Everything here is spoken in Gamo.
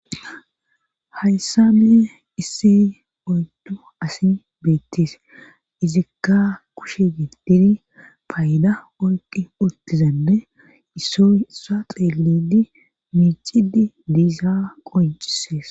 Hayssane issi oyddu asin beettis izikka kushe gidiri payda orqi urtizanne isso issa xeelidi miicidi diisa qoncisees.